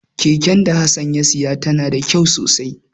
Keken da Hassan ya saya tana da kyau sosai.